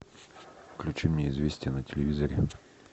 включи мне известия на телевизоре